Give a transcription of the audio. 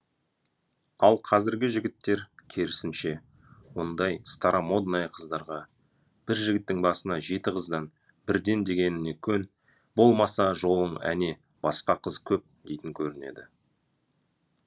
ал қазіргі жігіттер керісінше ондай старомодная қыздарға бір жігіттің басына жеті қыздан бірден дегеніме көн болмаса жолың әне басқа қыз көп дейтін көрінеді